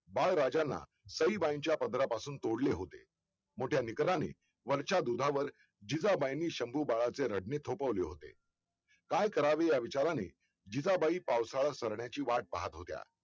बाळ राजांना सईबाईंच्या पदरापासून तोडले होते मोठ्या निकराने वरच्या दुधावर जिजाबाईंने शंभू बाळाचे रडणे थोपववले होते काय करावे या विचाराने जिजाबाई पावसाळा सारण्याची वाट पाहत होत्या